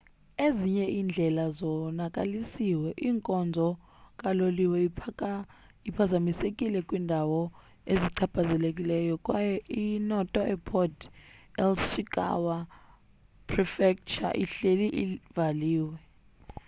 ezinye iindlela zonakalisiwe inkonzo kaloliwe iphazamisekile kwiindawo ezichaphazelekayo kwaye inoto airport eishikawa prefecture ihleli ivaliwe